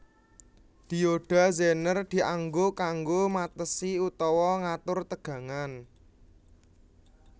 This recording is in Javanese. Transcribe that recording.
Dioda zener dianggo kanggo matesi utawa ngatur tegangan